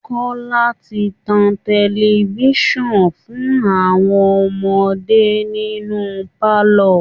Kọ́ọ́lá ti tan tẹlifíṣàn fún àwọn ọmọdé nínú pálọ̀